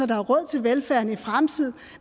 der er råd til velfærden i fremtiden